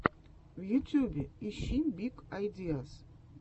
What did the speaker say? в ютьюбе ищи биг айдиаз